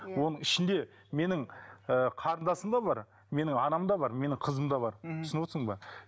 иә оның ішінде менің ііі қарындасым да бар менің анам да бар менің қызым да бар мхм түсініп отырсың ба